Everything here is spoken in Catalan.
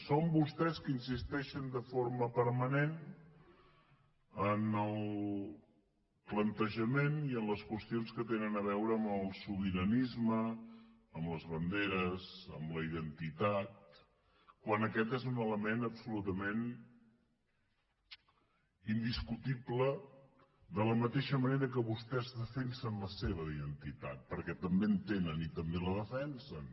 són vostès que insisteixen de forma permanent en el plantejament i en les qüestions que tenen a veure amb el sobiranisme amb les banderes amb la identitat quan aquest és un element absolutament indiscutible de la mateixa manera que vostès defensen la seva identitat perquè també en tenen i també la defensen